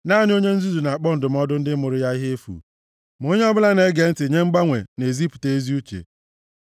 Naanị onye nzuzu na-akpọ ndụmọdụ ndị mụrụ ya ihe efu; ma onye ọbụla na-ege ntị nye mgbanwe na-ezipụta ezi uche.